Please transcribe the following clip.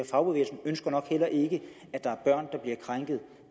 fagbevægelsen ønsker nok heller ikke at der er børn der bliver krænket